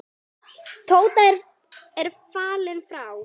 Tóta er fallin frá.